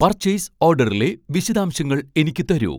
purchase ഓഡറിലെ വിശദാംശങ്ങൾ എനിക്ക് തരൂ